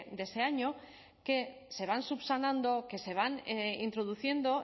de ese año que se van subsanando que se van introduciendo